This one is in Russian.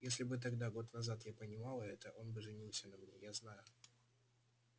если бы тогда год назад я понимала это он бы женился на мне я знаю